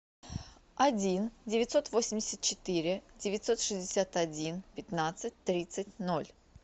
один девятьсот восемьдесят четыре девятьсот шестьдесят один пятнадцать тридцать ноль